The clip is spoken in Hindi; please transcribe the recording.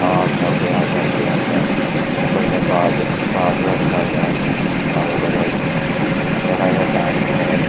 तार सब गया है घर के अंदर ऊपर में बाज- बाजा लगा है अँधेरा का टाइम है।